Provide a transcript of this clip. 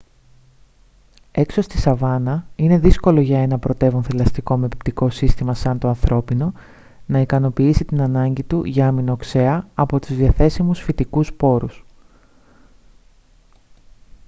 έξω στη σαβάνα είναι δύσκολο για ένα πρωτεύον θηλαστικό με πεπτικό σύστημα σαν το ανθρώπινο να ικανοποιήσει την ανάγκη του για αμινοξέα από τους διαθέσιμους φυτικούς πόρους